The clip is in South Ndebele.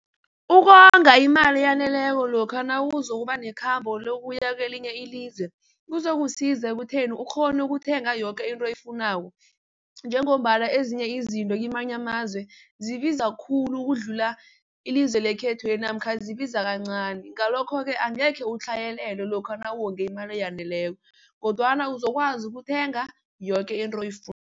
Ukonga imali eyaneleko lokha nawuzokuba nekhambo lokuya kwelinye ilizwe kuzokusiza ekutheni ukghone ukuthenga yoke into oyifunako, njengombana ezinye izinto kwamanye amazwe zibiza khulu ukudlula ilizwe lekhethweli namkha zibiza kancani. Ngalokho-ke angekhe utlhayelelwe lokha nawonga imali eyaneleko, kodwana uzokwazi ukuthenga yoke into